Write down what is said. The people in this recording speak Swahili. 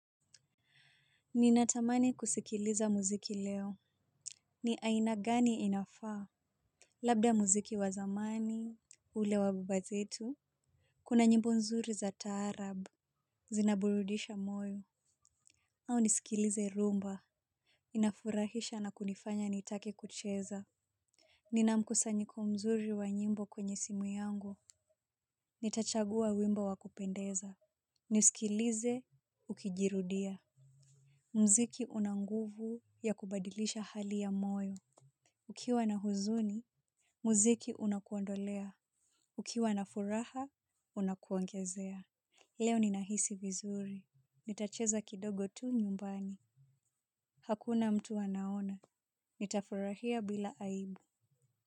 Ninatamani kusikiliza muziki leo. Ni aina gani inafaa. Labda muziki wazamani. Ule wababa zetu. Kuna njimbo nzuri za taarab. Zinaburudisha moyo au nisikilize rumba. Inafurahisha na kunifanya nitake kucheza. Nina mkusanjiko mzuri wa njimbo kwenye simu yangu. Nitachagua wimbo wakupendeza. Nisikilize ukijirudia. Mziki unanguvu ya kubadilisha hali ya moyo. Ukiwa na huzuni, muziki unakuondolea. Ukiwa na furaha, unakuongezea. Leo ninahisi vizuri. Nitacheza kidogo tu nyumbani. Hakuna mtu anaona. Nitafurahia bila aibu.